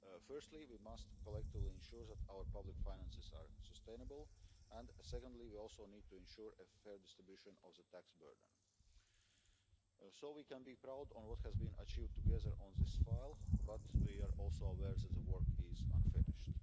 Firstly, we must collectively ensure that our public finances are sustainable, and, secondly, we also need to ensure a fair distribution of the tax burden. We can be proud of what has been achieved together on this file, but we are also aware that the work is unfinished.